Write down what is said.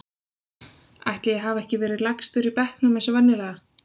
Ætli ég hafi ekki verið lægstur í bekknum eins og venjulega.